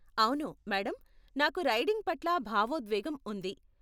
అవును, మేడం, నాకు రైడింగ్ పట్ల భావోద్వేగం ఉంది.